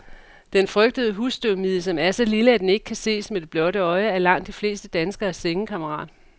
Den frygtede husstøvmide, som er så lille, at den ikke kan ses med det blotte øje, er langt de fleste danskeres sengekammerat.